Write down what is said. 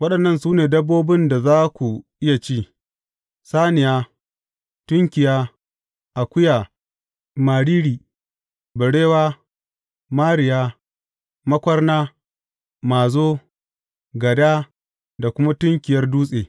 Waɗannan su ne dabbobin da za ku iya ci, saniya, tunkiya, akuya, mariri, barewa, mariya, makwarna, mazo, gada da kuma tunkiyar dutse.